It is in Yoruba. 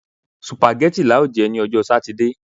Sùpàgẹ́tì lá ó jẹ ní ọjọ́ sátidé